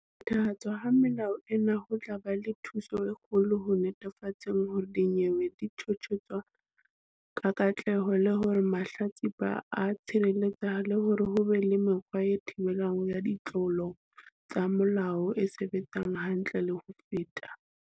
Phethahatswa ha melao ena ho tla ba le thuso e kgolo ho netefatseng hore dinyewe di tjhotjhiswa ka katleho, le hore mahlatsipa a tshireletsehe le hore ho be le mekgwa ya thibelo ya ditlolo tsa molao e sebetsang hantle le ho feta.